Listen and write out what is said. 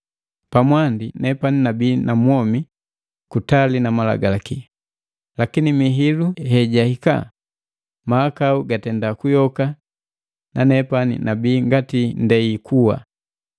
Pamwandi nepani nabii namwomi kutali na malagalaki, lakini mihilu hejahika, mahakau gatenda kuyoka nanepani nabii ngati ndei kuwa.